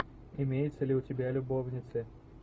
имеется ли у тебя любовницы